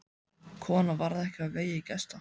Konan varð ekki á vegi gesta.